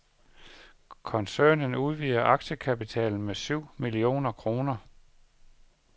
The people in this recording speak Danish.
Koncernen udvider aktiekapitalen med syv millioner kroner.